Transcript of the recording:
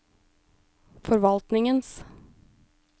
forvaltningens